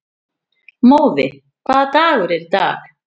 Móði, hvaða dagur er í dag?